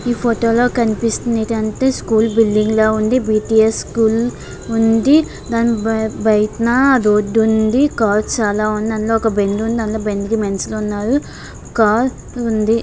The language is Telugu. ఈ ఫోటో లో కనిపిస్తుంది ఏంతంటే స్కూల్ బిల్డింగ్ లాగా ఉంది. బి_టి_ఎస్ స్కూల్ ఉంది. దాన్ని బయ్ బయటన రోడ్డు ఉంది. కార్స్ చాలా ఉన్నాయి. అందులో ఒక బండుంది.అందులో బండుకి మనుషులున్నారు. కార్ ఉంది.